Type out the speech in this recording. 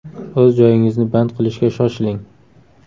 O‘z joyingizni band qilishga shoshiling!